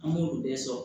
An b'olu bɛɛ sɔrɔ